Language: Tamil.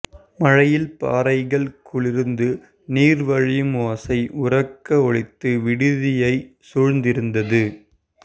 மழையில் பாறைகள் குளிர்ந்து நீர் வழியும் ஓசை உரக்க ஒலித்து விடுதியைச் சூழ்ந்திருந்தது